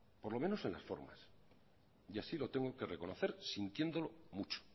por lo menos en las formas y así lo tengo que reconocer sintiéndolo mucho